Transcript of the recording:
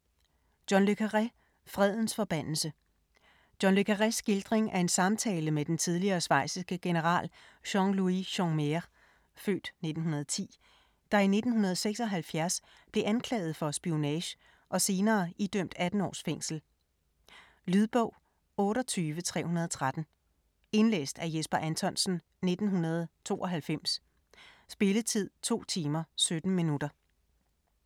Le Carré, John: Fredens forbandelse John Le Carrés skildring af en samtale med den tidligere schweiziske general Jean-Louis Jeanmaire (f. 1910), der i 1976 blev anklaget for spionage og senere idømt 18 års fængsel. Lydbog 28313 Indlæst af Jesper Anthonsen, 1992. Spilletid: 2 timer, 17 minutter.